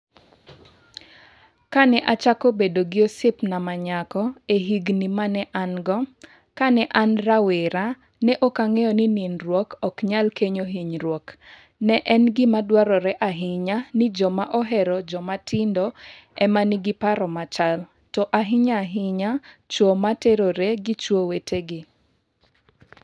Kane achako bedo gi osiepna ma nyako e Higini ma ne an-go Kane an rawera, ne ok ang'eyo ni nindruok ok nyal kelo hinyruok Ne en gima dwarore ahinya ni joma ohero Jomatindo e ma nigi paro machal, to ahinya ahinya chwo ma terore gi chwo wetegi.